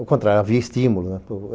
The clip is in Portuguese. Ao contrário, havia estímulo.